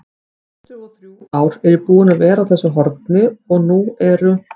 tuttugu-og-þrjú ár er ég búinn að vera á þessu horni og nú eru